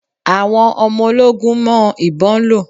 Àwọn ọmọ ológun mọ ìbon lò.